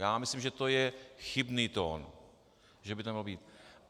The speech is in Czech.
Já myslím, že to je chybný tón, že by to nemělo být.